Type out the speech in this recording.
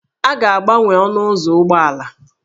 A ga-agbanwe ọnụ ụzọ ụgbọala